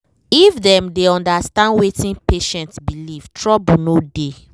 if dem dey understand wetin patient belief trouble no dey